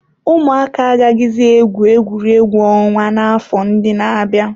Ụmụaka agaghịzi egwu egwuregwu ọnwa n'afọ ndị na-abịa.